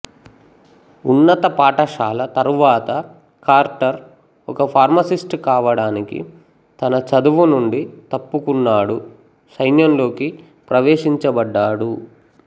ఉన్నత పాఠశాల తరువాత కార్టర్ ఒక ఫార్మసిస్ట్ కావడానికి తన చదువు నుండి తప్పుకున్నాడు సైన్యంలోకి ప్రవేశించబడ్డాడు